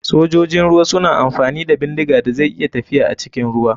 Sojojin ruwa suna amfani da bindiga da zai iya tafiya acikin ruwa.